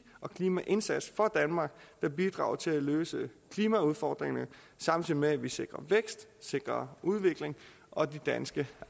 og klimaindsats for danmark der bidrager til at løse klimaudfordringerne samtidig med at vi sikrer vækst sikrer udvikling og de danske